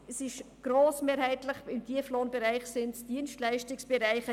Im Tieflohnbereich sind es grossmehrheitlich Dienstleistungsbereiche.